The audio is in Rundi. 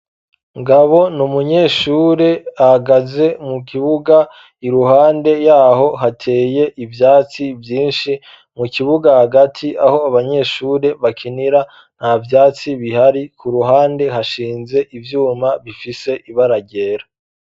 Ngabo n'umunyeshure ahagaze mu kibuga iruhande yaho hateye ivyatsi vyinshi, mu kibuga hagati aho abanyeshure bakinira nta vyatsi bihari, ku ruhande hashinze ivyuma bifise ibara ryera.